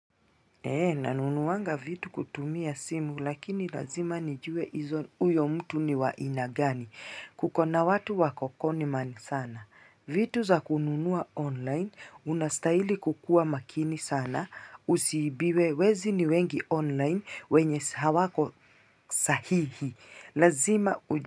Eee nanunuanga vitu kutumia simu lakini lazima nijue izo uyo mtu ni wa aina gani kukona watu wako conman sana vitu za kununua online unastahili kukua makini sana usiibiwe wezi ni wengi online wenye hawako sahihi lazima u.